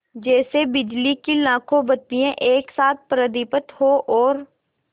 जैसे बिजली की लाखों बत्तियाँ एक साथ प्रदीप्त हों और